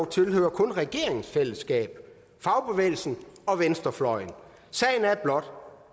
tilhører kun regeringens fællesskab fagbevægelsen og venstrefløjen sagen er blot